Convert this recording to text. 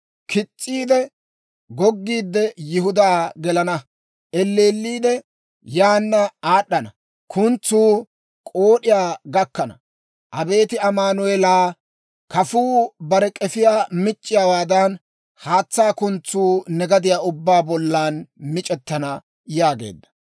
Kis's'iide goggiidde, Yihudaa gelana; eelliidde yaana aad'ana; kuntsuu k'ood'iyaa gakkana. Abeet Amaanu'eelaa, kafuu bare k'efiyaa mic'c'iyaawaadan, haatsaa kuntsuu ne gadiyaa ubbaa bollan mic'ettana» yaageedda.